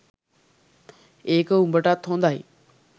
ඒක උඹටත් හොදයි